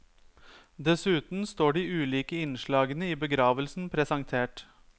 Dessuten står de ulike innslagene i begravelsen presentert.